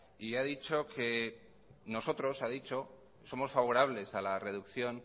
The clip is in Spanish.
y ha dicho que nosotros ha dicho somos favorables a la reducción